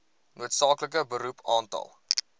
noodsaaklike beroep aantal